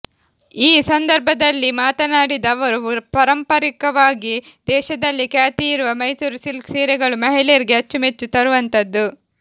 ಈ ಸಂದರ್ಭದಲ್ಲಿ ಮಾತನಾಡಿದ ಅವರು ಪರಂಪರಿಕವಾಗಿ ದೇಶದಲ್ಲೇ ಖ್ಯಾತಿಯಾಗಿರುವ ಮೈಸೂರು ಸಿಲ್ಕ್ ಸೀರೆಗಳು ಮಹಿಳೆಯರಿಗೆ ಅಚ್ಚು ಮೆಚ್ಚು ತರುವಂತದ್ದು